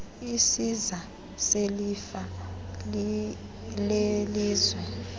isiza selifa lelizwe